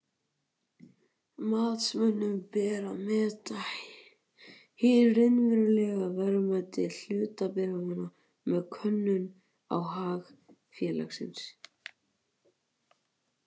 Matsmönnum ber að meta hið raunverulega verðmæti hlutabréfanna með könnun á hag félagsins.